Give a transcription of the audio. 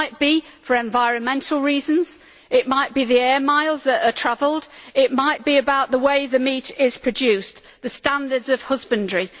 It might be for environmental reasons, it might be the air miles that are travelled, it might be about the way the meat is produced the standards of husbandry.